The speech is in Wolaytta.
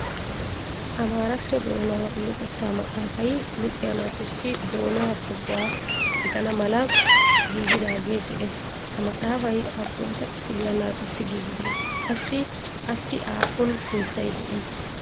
Amaratto doona luxetta maxaafay luxiya naatussi doona pegguwa gidana mala giigidaage de'ees. Ha maxafay aappuntta kifiliya naatussi giigide? Qassi assi aappun sinttay de'ii?